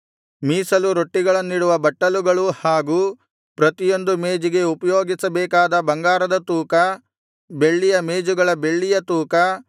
ಮೀಸಲು ರೊಟ್ಟಿಗಳನ್ನಿಡುವ ಬಟ್ಟಲುಗಳು ಹಾಗೂ ಪ್ರತಿಯೊಂದು ಮೇಜಿಗೆ ಉಪಯೋಗಿಸಬೇಕಾದ ಬಂಗಾರದ ತೂಕ ಬೆಳ್ಳಿಯ ಮೇಜುಗಳ ಬೆಳ್ಳಿಯ ತೂಕ